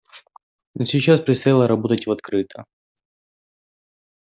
но сейчас предстояло работать в открытую